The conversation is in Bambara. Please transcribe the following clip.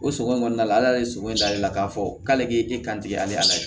O sogo in kɔnɔna la ala ye sogo in da ale la k'a fɔ k'ale k'e e kan tigɛ ale la